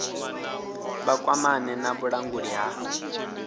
vha kwamane na vhulanguli ha